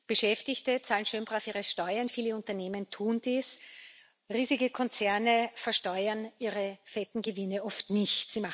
Beschäftigte zahlen schön brav ihre Steuern, viele Unternehmen tun dies, riesige Konzerne versteuern ihre fetten Gewinne oft nicht.